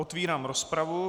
Otvírám rozpravu.